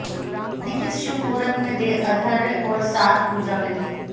जानें किस शुभ मुहूर्त में दें अर्ध्य और साथ पूजा विधि